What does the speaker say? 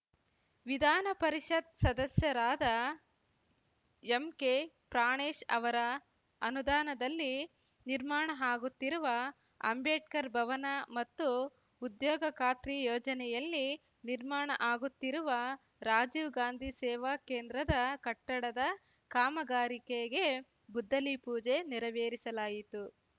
ವಿಧಾನ ಪರಿಷತ್‌ ಸದಸ್ಯರಾದ ಎಂಕೆ ಪ್ರಾಣೇಶ್‌ ಅವರ ಅನುದಾನದಲ್ಲಿ ನಿರ್ಮಾಣ ಆಗುತ್ತಿರುವ ಅಂಬೇಡ್ಕರ್‌ ಭವನ ಮತ್ತು ಉದ್ಯೋಗ ಖಾತ್ರಿ ಯೋಜನೆಯಲ್ಲಿ ನಿರ್ಮಾಣ ಆಗುತ್ತಿರುವ ರಾಜೀವ್‌ ಗಾಂಧಿ ಸೇವಾ ಕೇಂದ್ರದ ಕಟ್ಟಡದ ಕಾಮಗಾರಿಕೆಗೆ ಗುದ್ದಲಿ ಪೂಜೆ ನೆರವೇರಿಸಲಾಯಿತು